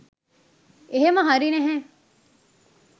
එහෙම හරි නැහැ